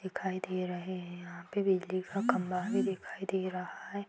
दिखाई दे रहे हैं। यहां पे बिजली का खंभा भी दिखाई दे रहा है।